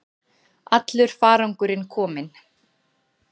Allur farangurinn kominn